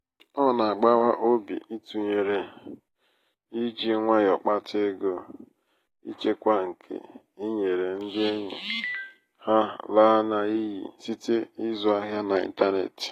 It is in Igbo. ọ na-agbawa obi ịtụnyere iji nwayọ kpata ego kpata ego ichekwara nke i nyere ndị enyi ha laa ya n'iyi site n'ịzụ ahịa n' ịntanetị.